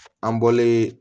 An bɔlen